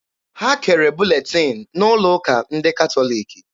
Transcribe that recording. Ha kere buletin n'ụlọ ụka ndị katọliki.